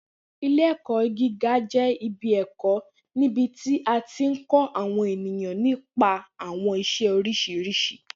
Ile-ẹkọ giga jẹ ibi ẹkọ nibiti a ti kọ awọn eniyan nipa awọn iṣẹ oriṣiriṣi